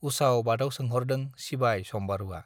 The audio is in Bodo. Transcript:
- उसाव-बादाव सोंहरदों सिबाय सम्बारुआ।